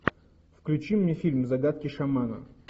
включи мне фильм загадки шамана